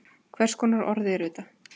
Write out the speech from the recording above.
Hvers konar orð eru þetta?